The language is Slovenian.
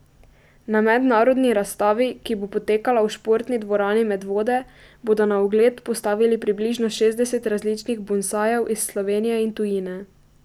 Na mednarodni razstavi, ki bo potekala v Športni dvorani Medvode, bodo na ogled postavili približno šestdeset različnih bonsajev iz Slovenije in tujine.